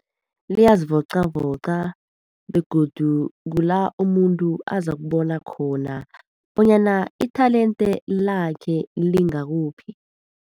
Liyazivocavoca, begodu kula umuntu azakubona khona bonyana i-talent lakhe lingakuphi.